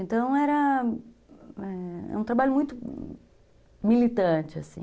Então, era, eh, um trabalho muito militante, assim.